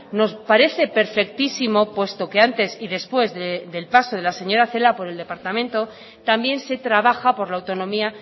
nos parece perfectísimo puesto que antes y después del paso de la señora celaá por el departamento también se trabaja por la autonomía